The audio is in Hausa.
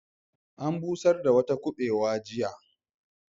An busar da wata kubewar jiya.